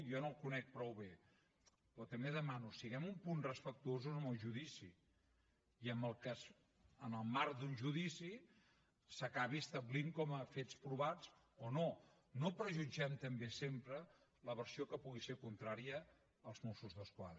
jo no el conec prou bé però també demano siguem un punt respectuosos amb el judici i amb el que en el marc d’un judici s’acabin establint com a fets provats o no no prejutgem també sempre la versió que pugui ser contrària als mossos d’esquadra